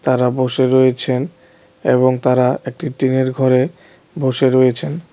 তারা বসে রয়েছেন এবং তারা একটি টিনের ঘরে বসে রয়েছেন।